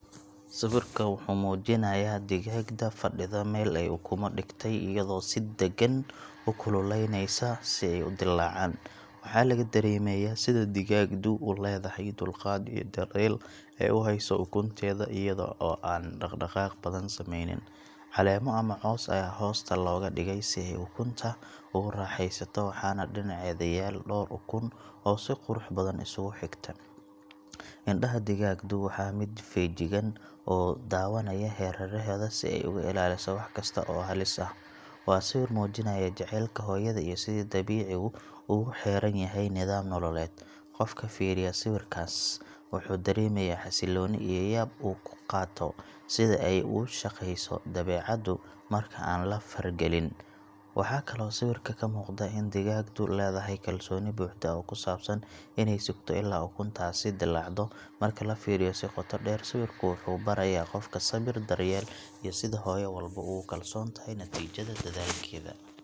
Sawirka wuxuu muujinayaa digaagad fadhida meel ay ukumo dhigatay iyadoo si deggan u kululeyneysa si ay u dillaacaan. Waxaa laga dareemayaa sida digaagadu u leedahay dulqaad iyo daryeel ay u hayso ukunteeda iyadoo aan dhaqaaq badan samaynin. Caleemo ama caws ayaa hoosta looga dhigay si ay ukunta ugu raaxaysato, waxaana dhinaceeda yaal dhowr ukun oo si qurux badan isugu xigta. Indhaha digaagadu waa mid feejigan oo daawanaya hareeraheeda si ay uga ilaaliso wax kasta oo halis ah. Waa sawir muujinaya jacaylka hooyada iyo sida dabiicigu ugu xeeran yahay nidaam nololeed. Qofka fiiriya sawirkaas wuxuu dareemayaa xasillooni iyo yaab uu ka qaato sida ay u shaqayso dabeecaddu marka aan la faragelin. Waxaa kaloo sawirka ka muuqda in digaagadu leedahay kalsooni buuxda oo ku saabsan inay sugto ilaa ukuntaasi dillaacdo. Marka la fiiriyo si qoto dheer, sawirku wuxuu barayaa qofka sabir, daryeel iyo sida hooyo walba ugu kalsoon tahay natiijada dadaalkeeda.